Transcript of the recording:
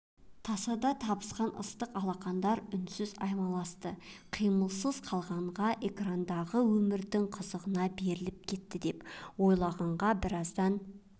тасада табысқан ыстық алақандар үнсіз аймаласты қимылсыз қалғанға экрандағы өмірдің қызығына беріліп кетті деп ойлаған біраздан